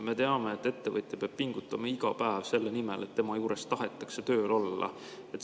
Me teame, et ettevõtja peab pingutama iga päev selle nimel, et tema juures tahetaks tööl olla.